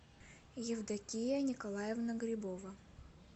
евдокия николаевна грибова